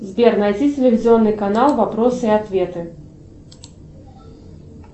сбер найди телевизионный канал вопросы и ответы